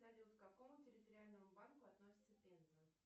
салют к какому территориальному банку относится пенза